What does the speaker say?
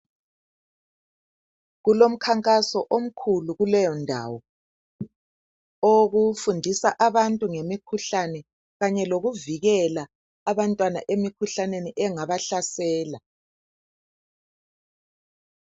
Kulomkhankaso omkhulu kuleyondawo. Owokufundisa abantu ngemikhuhlane kanye lokuvikela abantwana emikhuhlaneni engabahlasela.